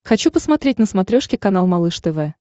хочу посмотреть на смотрешке канал малыш тв